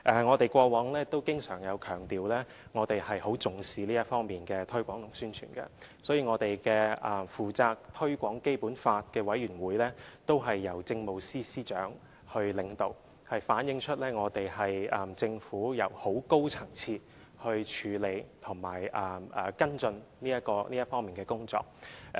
我們過往經常強調，我們很重視這方面的推廣和宣傳，所以，負責推廣《基本法》的委員會是由政務司司長領導的，這反映了政府是由很高層次的人來處理及跟進這方面的工作。